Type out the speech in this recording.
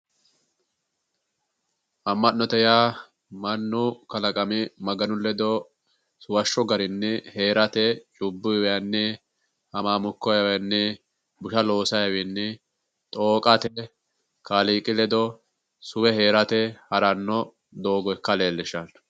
Amma'note ya mannu kalaqami maganu ledo suwashsho doogo garinni busha loosa hamaamukko loosate xooqatenni isi ledo suwe hee'rate haranno doogo ikkase leellishshanno